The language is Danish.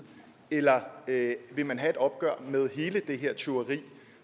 eller vil man have et opgør med hele det her tyveri